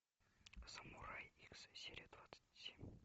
самурай икс серия двадцать семь